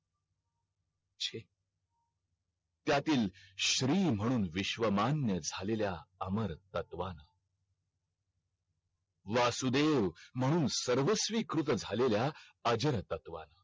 त्यातील श्री म्हणून विश्वमान्य झालेल्या अमर तत्वांना वासुदेव मौज सर्वस्वी झालेल्या अजर तत्वांना